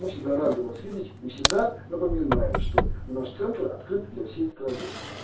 мы всегда рады вас видеть и всегда напоминаем что у нас центр открыт для всей страны